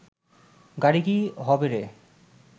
গাড়ি কি হবে রে